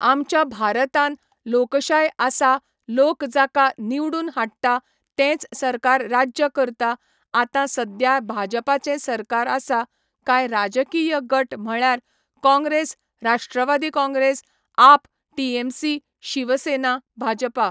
आमच्या भारतान लोकशाय आसा लोक जाका निवडून हाडटा तेंच सरकार राज्य करता आतां सद्द्या बाजपाचें सरकार आसा कांय राजकीय गट म्हळ्यार काँग्रेस राष्ट्रवादी काँग्रेस आप टीएमसी शिवसेना बाजपा